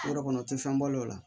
Yɔrɔ kɔnɔ tɛ fɛn balo la